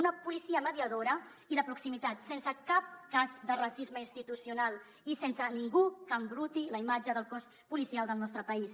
una policia mediadora i de proximitat sense cap cas de racisme institucional i sense ningú que embruti la imatge del cos policial del nostre país